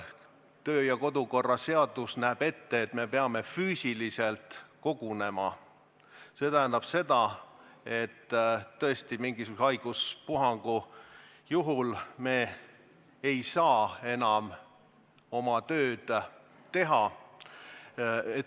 Kodu- ja töökorra seadus näeb ette, et me peame füüsiliselt kogunema, ja see tähendab seda, et mingisuguse haiguspuhangu korral me ei saa enam oma tööd teha.